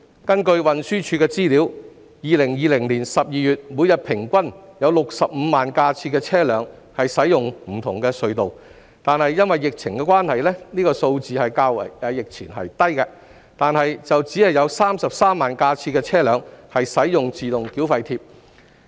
根據運輸署的資料 ，2020 年12月每天平均有65萬架次的車輛使用不同的隧道——因疫情關係，這個數字較疫前為低——但只有33萬架次的車輛使用自動繳費貼。